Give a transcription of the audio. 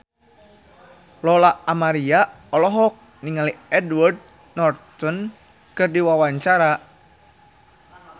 Lola Amaria olohok ningali Edward Norton keur diwawancara